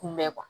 Kunbɛn